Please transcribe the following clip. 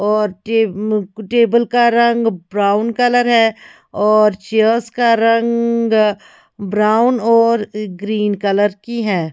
और टेबल का रंग ब्राउन कलर है और चेयर्स का रंग ब्राउन और ग्रीन कलर की है।